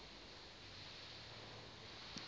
lo mfana athanda